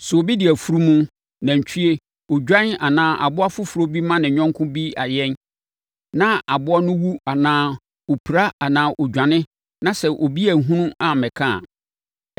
“Sɛ obi de afunumu, nantwie, odwan anaa aboa foforɔ bi ma ne yɔnko bi ayɛn na aboa no wu anaa ɔpira anaa ɔdwane na sɛ obi anhunu ammɛka a,